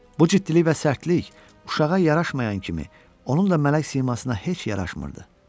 Bu ciddilik və sərtlik uşağa yaraşmayan kimi, onun da mələk simasına heç yaraşmırdı.